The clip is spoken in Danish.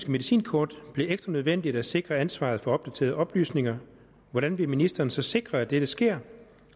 medicinkort bliver ekstra nødvendigt at sikre ansvaret for opdaterede oplysninger hvordan vil ministeren så sikre at dette sker